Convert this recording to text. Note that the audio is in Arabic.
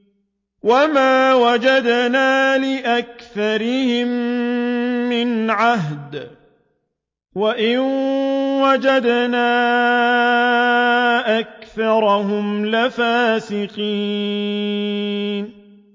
وَمَا وَجَدْنَا لِأَكْثَرِهِم مِّنْ عَهْدٍ ۖ وَإِن وَجَدْنَا أَكْثَرَهُمْ لَفَاسِقِينَ